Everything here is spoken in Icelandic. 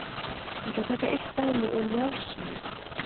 Ég ætla að taka eitt dæmi úr Njáls sögu.